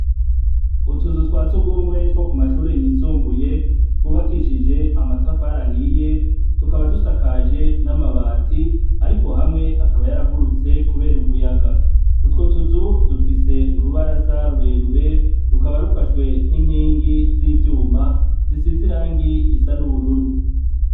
Utuzu twasugumwe twokumashure yisumbuye twubakishije amatafari ahiye, tukaba dusakaje amabati ariko hamwe akaba yaragurutse kubera umuyaga. Utwo tuzu dufise urubaraza rurerure rukaba rufashwe ninkingi zivyuma risize irangi risa nubururu.